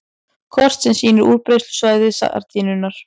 Kort sem sýnir útbreiðslusvæði sardínunnar.